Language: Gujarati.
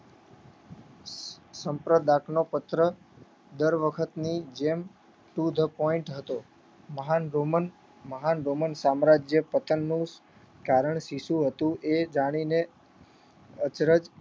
સંપ્રદાતનો પત્ર દરવખતની જેમ to the point હતો મહાન રોમન મહાન રોમન સામ્રાજ્ય પતનનું કારણ શી શું હતું એ જાણીને અચરજ